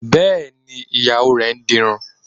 Bẹ́ẹ̀ni, Ìyàwó rẹ dirun